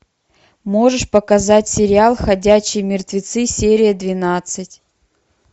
можешь показать сериал ходячие мертвецы серия двенадцать